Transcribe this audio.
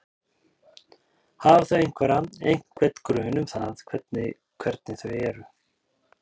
Hafa þau einhverja, einhvern grun um það hvernig hvernig þau eru?